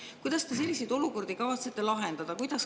Kuidas te selliseid olukordi kavatsete lahendada?